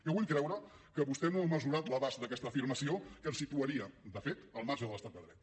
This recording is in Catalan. jo vull creure que vostè no ha mesurat l’abast d’aquesta afirmació que ens situaria de fet al marge de l’estat de dret